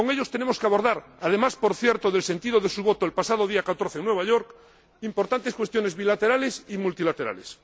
Con ellos tenemos que abordar —además, por cierto, del sentido de su voto el pasado día 14 en Nueva York— importantes cuestiones bilaterales y multilaterales.